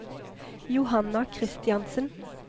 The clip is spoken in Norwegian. Johanna Kristiansen